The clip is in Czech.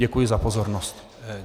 Děkuji za pozornost.